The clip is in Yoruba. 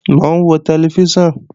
Mò ń wo tẹlifíṣàn